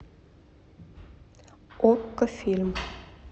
окко фильм